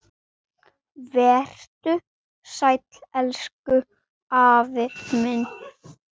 Vertu sæll, elsku afi minn.